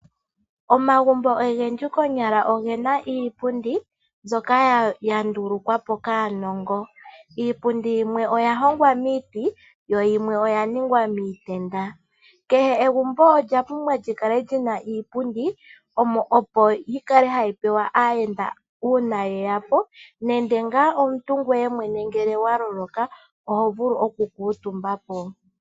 Omagumbo ogendji konyala ogena iipundi mbyoka ya ndulukwa po kaanongo. Iipundi yimwe oya hongwa miiti yo yimwe oyaningwa miitenda. Kehe egumbo olya pumbwa lyi kale lyina iipundi opo yi kale hayi pewa aayenda uuna yeya po nenge ngaa omuntu ngu nenge ngaa ngele omuntu ngoye mwene wa loloka oho vulu oku kuutumba.